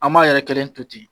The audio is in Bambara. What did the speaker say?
An m'a yɛrɛ kɛlen to ten